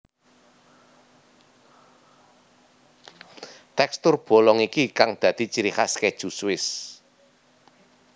Tekstur bolong iki kang dadi ciri khas keju Swiss